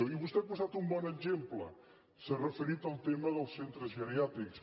i vostè ha posat un bon exemple s’ha referit al tema dels centres geriàtrics